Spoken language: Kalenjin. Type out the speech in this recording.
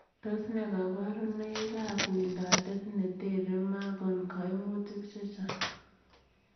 Tos ne kabarunoik ap wendotet neteree makon kaimutik chechang.